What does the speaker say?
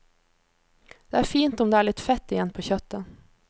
Det er fint om det er litt fett igjen på kjøttet.